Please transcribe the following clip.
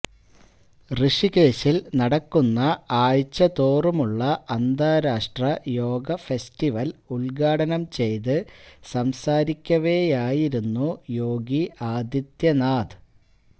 ഋഷികേശില് നടക്കുന്ന ആഴ്ചതോറുമുള്ള അന്താരാഷ്ട്ര യോഗ ഫെസ്റ്റിവല് ഉദ്ഘാടനം ചെയ്ത് സംസാരിക്കവേയായിരുന്നു യോഗി ആദിത്യനാഥ്